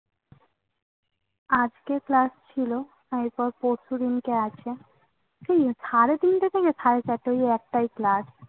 আজকে Class ছিল এর পর পরশুদিনকে আছে। ওই সাড়ে তিনটে থেকে সাড়ে চারটে ওই একটাই Class